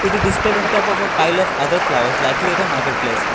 it is listed on top of file of other flowers likely a market place.